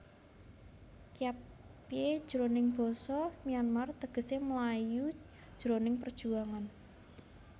Kyatpyae jroning basa Myanmar tegesé mlayu jroning perjuangan